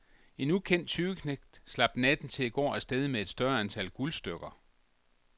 En ukendt tyveknægt slap natten til i går af sted med et større antal guldstykker.